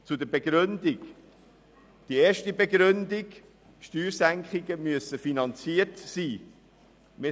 Zur Begründung: Erstens müssen Steuersenkungen finanziert werden.